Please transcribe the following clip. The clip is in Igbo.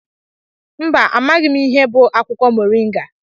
Mba, amaghị m ihe bụ akwụkwọ Moringa.